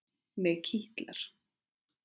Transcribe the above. Mig kitlar.